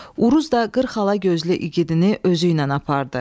Uruz da qırxala gözlü igidini özü ilə apardı.